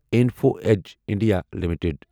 info edge India limited